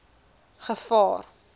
gevaar